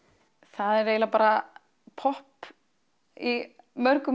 það er eiginlega bara popp í mörgum